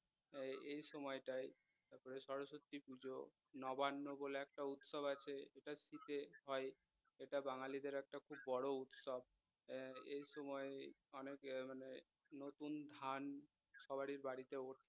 তারপরে সরস্বতী পুজো নবান্ন বলে একটা উৎসব আছে এটা শীতে হয় এটা বাঙ্গালীদের একটা খুব বড় উৎসব আহ এই সময়ে অনেক মানে নতুন ধান সবারই বাড়িতে উঠে